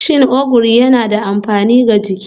Shin Ogiri yana da amfani ga jiki?